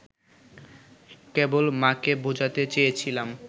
কেবল মা’কে বোঝাতে চেয়েছিলাম